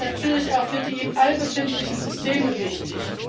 Sicherheit ist natürlich auch für die im All befindlichen Systeme wichtig.